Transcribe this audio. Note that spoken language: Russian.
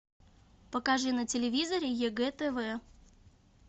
покажи на телевизоре егэ тв